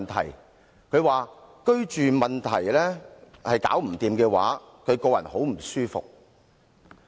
她說，若居住問題無法解決，她個人感到很不舒服。